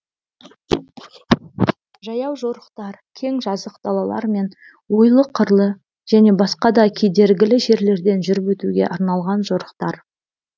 жаяу жорықтар кең жазық далалар мен ойлы қырлы және басқа да кедергілі жерлерден жүріп өтуге арналған жорықтар